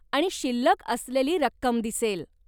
आणि शिल्लक असलेली रक्कम दिसेल.